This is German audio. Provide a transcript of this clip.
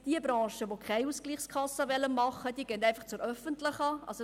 Die Branchen, welche keine Ausgleichskasse machen wollen, gehen zur öffentlichen Kasse.